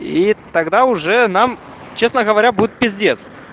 и тогда уже нам честно говоря будет пиздец